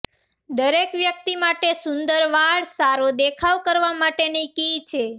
દરેક વ્યક્તિ માટે સુંદર વાળ સારો દેખાવ કરવા માટે કી છે